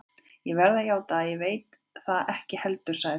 Ég verð að játa, að ég veit það ekki heldur sagði Friðrik.